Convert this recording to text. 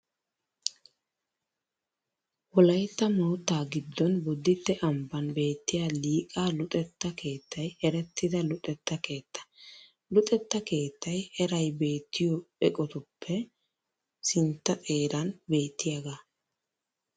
Wolaytta moottaa giddon Bodditte ambban beettiya Liqaa luxetta keettay erettida luxetta keetta. Luxetta keettay eray beettiyo eqotatuppe sintta xeeran beettiyagaa.